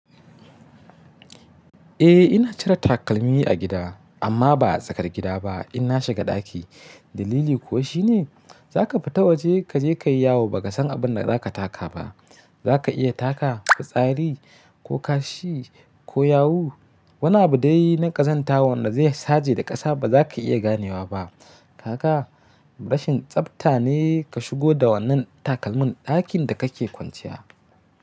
Eh ina cire takalmi a gida amma ba a tsakar gida ba, inna shiga ɗaki. Dalili kuwa shine za ka fita waje kaje kayi yawu ba ka san abinda za ka taka ba. Za ka iya taka fitsari ko kashi ko yawu. Wani abu dai na ƙazanta wanda zai saje da ƙasa ba za ka iya ganewa ba. Kaga rashin tsafta ne ka shigo da wannan takalmin ɗakin da kake kwanciya.